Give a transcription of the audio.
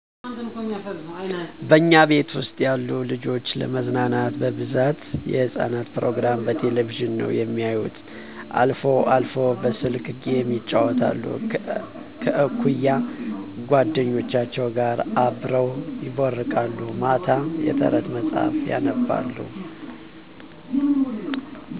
በእኛ ቤት ውስጥ ያሉት ልጆች ለመዝናናት በብዛት የህጻናት ፕሮግራም በቴሌቭዥን ነው የሚያዩት አልፎ አልፎም በስልክ ጌም ይጫወታሉ። ከእኩያ ጎደኞቻቸው ጋር አብረው ይቦርቃሉ። ማታ ማታ የተረት መጽሐፍም ያነባሉ።